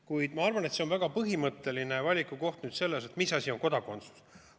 Kuid ma arvan, et see on väga põhimõtteline valikukoht selles mõttes, et mis asi on kodakondsus.